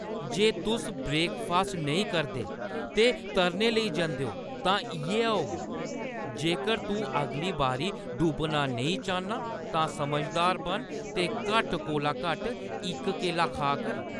जे तुस ब्रेकफास्ट नेईं करदे ते तरने लेई जंदे ओ, तां इ'यै होग। जेकर तूं अगली बारी डुब्बना नेईं चाह्न्नां तां समझदार बन ते घट्ट कोला घट्ट इक केला खा कर।